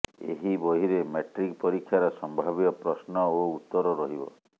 ଏହି ବହିରେ ମାଟ୍ରିକ ପରୀକ୍ଷାର ସମ୍ଭାବ୍ୟ ପ୍ରଶ୍ନ ଓ ଉତ୍ତର ରହିବ